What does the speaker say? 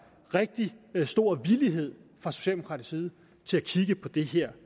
rigtig stor villighed fra socialdemokratisk side til at kigge på det her